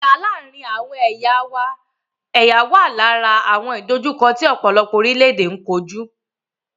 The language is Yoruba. Ìjà láàárín àwọn ẹ̀yà wà lára àwọn ìdòjukọ́ tí ọ̀pọ̀lọpọ̀ orílẹ̀-èdè n kojú.